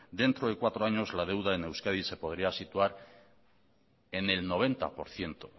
dentro de cuatro años la deuda en euskadi se podría situar en el noventa por ciento